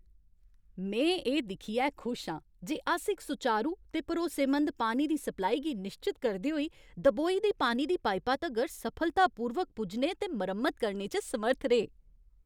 में एह् दिक्खियै खुश आं जे अस इक सुचारू ते भरोसेमंद पानी दी सप्लाई गी निश्चत करदे होई दबोई दी पानी दी पाइपा तगर सफलतापूर्वक पुज्जने ते मरम्मत करने च समर्थ रेह्।